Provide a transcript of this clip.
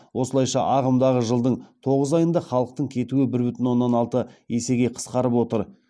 осылайша ағымдағы жылдың тоғыз айында халықтың кетуі бір бүтін оннан алты есеге қысқарып отыр